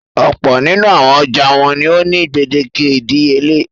Ọ̀pọ̀ nínú àwọn ọjà wọn ni ó ní gbèdéke ìdíyelé.